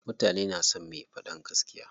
Mutane na son me faɗan gaskiya.